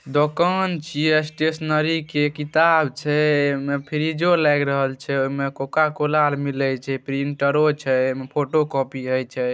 दोकान छय स्टेशनरी के किताब छै एमे फ्रिजो लेग रहल छै एमे कोका-कोला आर मिले छै प्रिंटरो छै एमे फोटोकॉपी होय छे।